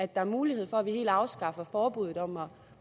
der er mulighed for at vi helt afskaffer forbuddet